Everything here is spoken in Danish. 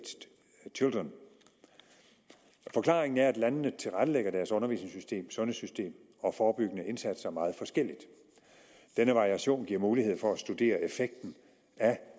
children forklaringen er at landene tilrettelægger deres undervisningssystem sundhedssystem og forebyggende indsatser meget forskelligt den variation giver mulighed for at studere effekten af